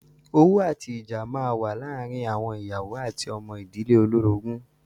Owú àti ìjà máa ń wà láàárín àwọn ìyàwó àti ọmọ ìdílé olórogún.